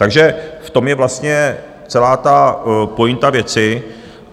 Takže v tom je vlastně celá ta pointa věci.